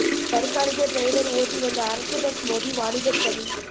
தற்காலிக டிரைவர் ஓட்டி வந்த அரசு பஸ் மோதி வாலிபர் பலி